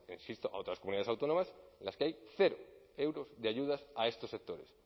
insisto a otras comunidades autónomas en las que hay cero euros de ayudas a estos sectores